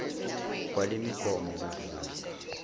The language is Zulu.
kwale migomo kuvula